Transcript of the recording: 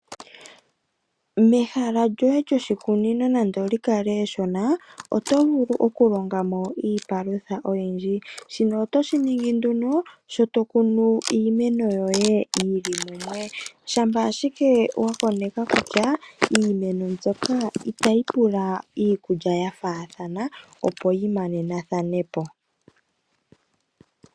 Mehala lyoshikunino nando o li kale eshona, oto vulu okulonga mo iipalutha oyindji. Shino oto shi ningi nduno shi to kunu iimeno yoye yi li mumwe shampa ashike wa koneka kutya iimeno mbyoka itayi pula iikulya ya faathana, opo yi manenathanepo.